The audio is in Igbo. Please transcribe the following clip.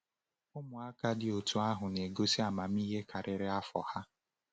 Ụmụaka dị otú ahụ na-egosi amamihe karịrị afọ ha.